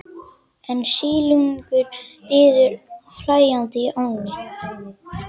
En silungurinn bíður hlæjandi í ánni.